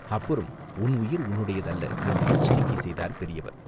அப்புறம் உன் உயிர் உன்னுடையது அல்ல!" என்று எச்சரிக்கை செய்தார் பெரியவர்.